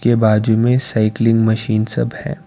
के बाजू में साइकलिंग मशीन सब है।